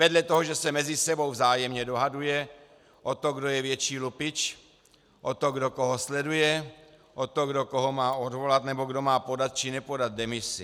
Vedle toho, že se mezi sebou vzájemně dohaduje o to, kdo je větší lupič, o to, kdo koho sleduje, o to, kdo koho má odvolat nebo kdo má podat či nepodat demisi.